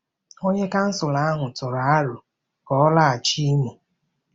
Onye consul ahụ tụrụ aro ka ọ laghachi Imo.